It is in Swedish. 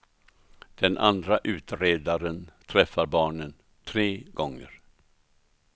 Den andra utredaren träffar barnen tre gånger.